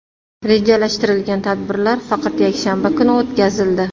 Rejalashtirilgan tadbirlar faqat yakshanba kuni o‘tkazildi.